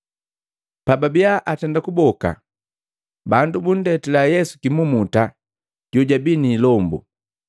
Pababiya atenda kuboka, bandu bundetila Yesu kimumuta, jojabii ni ilombu.